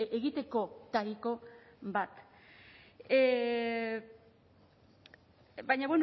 egitekotariko bat baina